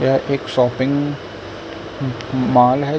यह एक shopping mall है।